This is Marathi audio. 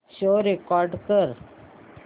शो रेकॉर्ड कर